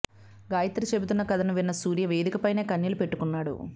గాయత్రి చెబుతున్న కథను విన్న సూర్య వేదికపైనే కన్నీళ్ళు పెట్టుకున్నాడు